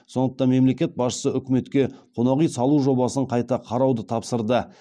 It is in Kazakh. сондықтан мемлекет басшысы үкіметке қонақ үй салу жобасын қайта қарауды тапсырды